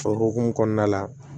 O hokumu kɔnɔna la